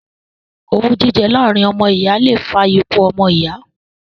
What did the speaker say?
Owú jíjẹ láàrin ọmọ ìyá le fa ikú ọmọ iya